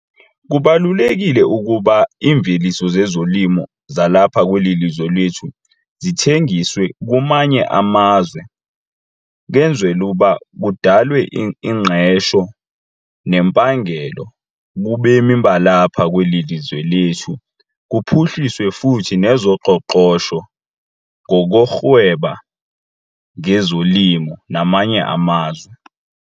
Kubalulekile ukuba iimveliso zezolimo zalapha kweli lizwe lethu zithengiswe kumanye amazwe kwenzelwe uba kudalwe ingqesho nempangelo kubemi balapha kweli lizwe lethu. Kuphuhliswe futhi nezoqoqosho ngokurhweba ngezolimo namanye amazwe.